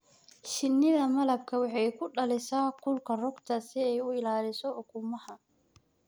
Shinnida malabku waxay ku dhalisaa kulka rugta si ay u ilaaliso ukumaha.